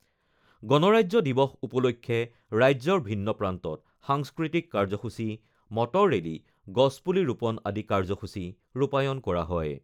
গণৰাজ্য দিৱস উপলক্ষে ৰাজ্যৰ ভিন্ন প্ৰান্তত সাংস্কৃতিক কাৰ্যসূচী, মটৰ ৰেলী, গছপুলি ৰোপন আদি কাৰ্যসূচী ৰূপায়ন কৰা হয়।